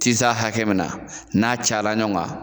Tisa hakɛ min na, n'a cayara ɲɔgɔn kan.